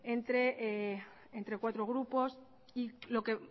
entre cuatro grupos y lo que